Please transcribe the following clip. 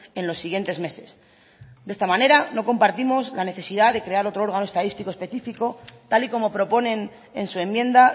en los siguientes meses de esta manera no compartimos la necesidad de crear otro órgano estadísticos específico tal y como proponen en su enmienda